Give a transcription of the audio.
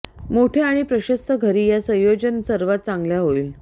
मोठ्या आणि प्रशस्त घरी या संयोजन सर्वात चांगल्या होईल